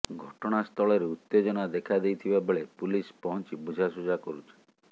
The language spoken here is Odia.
ଘଟଣାସ୍ଥଳରେ ଉତ୍ତେଜନା ଦେଖାଦେଇଥିବା ବେଳେ ପୁଲିସ୍ ପହଞ୍ଚି ବୁଝାଶୁଝା କରୁଛି